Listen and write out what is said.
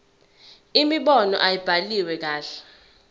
imibono ayibhaliwe kahle